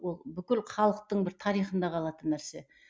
ол бүкіл халықтың бір тарихында қалатын нәрсе